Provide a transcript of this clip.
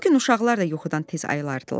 O gün uşaqlar da yuxudan tez ayılırdılar.